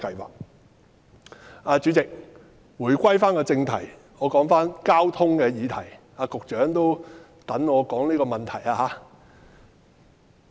代理主席，回歸正題，說回交通的議題，局長也正在等候我評論這議題。